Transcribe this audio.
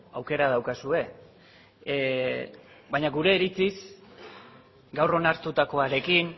aukera daukazue baina gure iritziz gaur onartutakoarekin